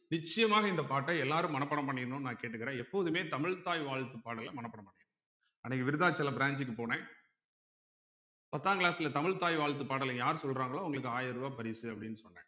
நிச்சயமாக இந்த பாட்ட எல்லாரும் மனப்பாடம் பண்ணிக்கணும்ன்னு நான் கேட்டுக்கிறேன் எப்போதுமே தமிழ்த்தாய் வாழ்த்து பாடலை மனப்பாடம் பண்ணிடனும் அன்னைக்கு விருத்தாசலம் branch க்கு போனேன் பத்தாங் class ல தமிழ்த்தாய் வாழ்த்து பாடலை யார் சொல்றாங்களோ அவங்களுக்கு ஆயிரம் ரூபாய் பரிசு அப்படின்னு சொன்னேன்